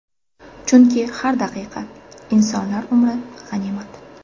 Chunki har daqiqa, insonlar umri g‘animat!